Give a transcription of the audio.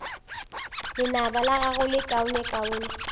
lenaba la gago le lekaonekaone